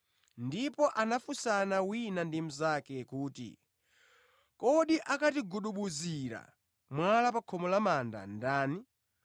ndipo anafunsana wina ndi mnzake kuti, “Kodi akatikugudubuzira mwala pa khomo la manda ndani?”